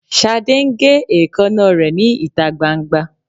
Ṣadé ń gé èékánná rẹ̀ ní ìta gbangba